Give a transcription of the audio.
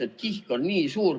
Sest kihk on nii suur.